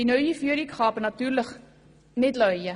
Die neue Führung kann sich aber natürlich nicht ausruhen.